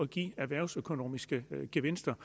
give erhvervsøkonomiske gevinster